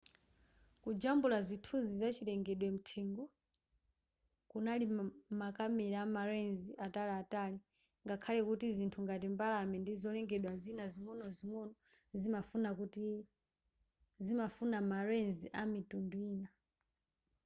kujambula zithunzi za chilengedwe mthengo kunali makamera ama lens ataliatali ngakhale kuti zinthu ngati mbalame ndi zolengedwa zina zing'onozingono zimafuna ma lens amitundu ina